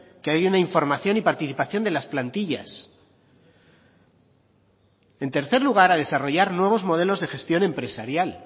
que hay una información y participación de las plantillas en tercer lugar a desarrollar nuevos modelos de gestión empresarial